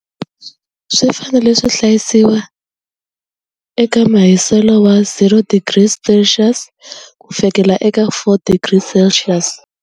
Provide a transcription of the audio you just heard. Swi fanele swi hlayisiwa eka mahiselo wa zero degrees Celsius ku fikela eka four degrees Celsius.